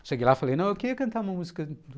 Cheguei lá e falei, não, eu queria cantar uma música